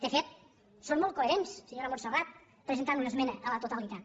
de fet són molt coherents senyora montserrat presentant una esmena a la totalitat